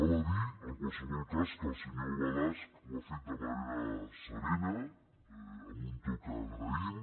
val a dir en qualsevol cas que el senyor balasch ho ha fet de manera serena amb un to que agraïm